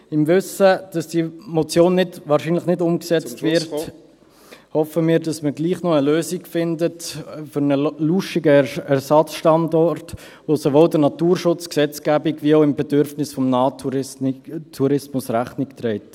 Im Wissen darum, dass diese Motion wahrscheinlich nicht umgesetzt wird, …… hoffen wir, dass man gleichwohl noch eine Lösung findet für einen lauschigen Ersatzstandort, der sowohl der Naturschutzgesetzgebung als auch dem Bedürfnis des Nahtourismus Rechnung trägt.